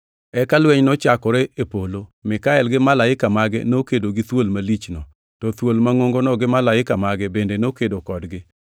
Eka lweny nochakore e polo. Mikael gi malaike mage nokedo gi thuol malichno, to thuol mangʼongono gi malaike mage bende nokedo kodgi.